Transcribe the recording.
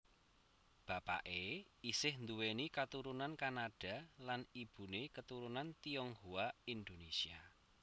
Bapaké isih nduwéni katurunan Kanada lan ibuné keturunan Tionghoa Indonesia